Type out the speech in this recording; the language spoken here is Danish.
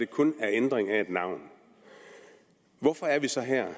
kun en ændring af et navn hvorfor er vi så her